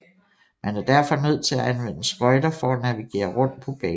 Man er derfor nødt til at anvende skøjter for at navigere rundt på banen